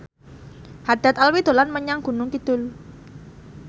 Haddad Alwi dolan menyang Gunung Kidul